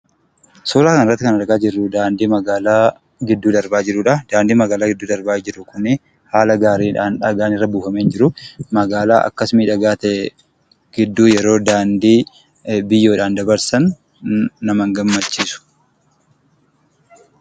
Suuraa kanarratti kan argaa jirru daandii magaalaa gidduu darbaa jirudha. Daandiin magaalaa gidduu darbaa jiru kun haala gaariidhaan dhagaan irra buufamee hin jiru. Magaalaa akkas miidhagaa ta'e gidduu yeroo daandii biyyeedhaan dabarsan nama hin gammachiisu.